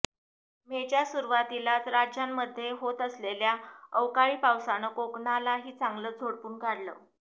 मेच्या सुरुवातीलाच राज्यामध्ये होत असलेल्या अवकाळी पावसानं कोकणालाही चांगलंच झोडपून काढलं